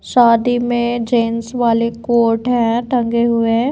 शादी में जेंट्स वाले कोट हैं टंगे हुए।